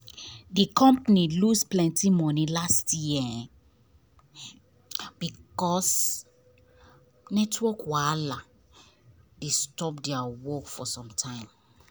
the company lose plenty money last year because network wahala dey stop their work for some time.